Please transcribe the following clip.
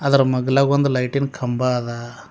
ಅದರ ಮಗ್ಗಲಾಗ ಒಂದ್ ಲೈಟಿನ್ ಕಂಬ ಅದಾ.